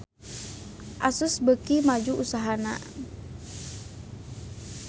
Asus beuki maju usahana